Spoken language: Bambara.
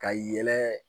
Ka yɛlɛ